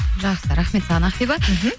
жақсы рахмет саған ақбибі мхм